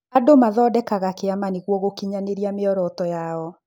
Andũ mathondekaga kĩama nĩguo gũkinyanĩrĩa mĩoroto yao.